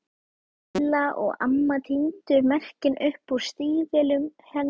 Lilla og amma tíndu merkin upp úr stígvélunum hennar Lillu.